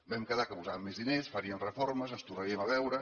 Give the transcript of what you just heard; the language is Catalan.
vam quedar que hi posàvem més diners faríem reformes ens tornaríem a veure